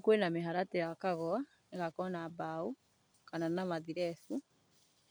Kwĩ na mĩharatĩ yakagwo, ĩgakwo na mbao kana na mathirebu